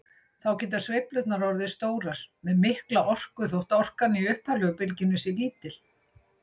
Þá geta sveiflurnar orðið stórar með mikla orku þótt orkan í upphaflegu bylgjunni sé lítil.